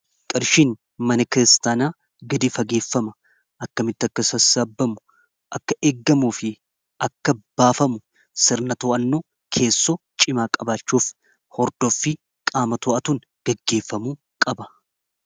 qarshiin mana kiristaanaa gadi fageeffama akka mitti akka sassaabamu akka eeggamuu fi akka baafamu sirna to'annoo keessoo cimaa qabaachuuf hordooffi qaama to'atuun gaggeeffamu qaba